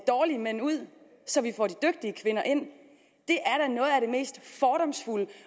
dårlige mænd ud så vi får de dygtige kvinder ind det mest fordomsfulde